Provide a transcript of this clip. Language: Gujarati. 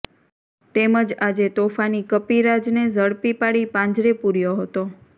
તેમજ આજે તોફાની કપીરાજને ઝડપી પાડી પાંજરે પૂર્યો હતો